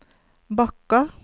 Bakka